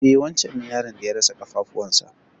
E wancen ne yaron da ya rasa ƙafafuwan sa.